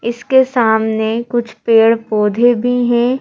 इसके सामने कुछ पैर पौधे भी हैं।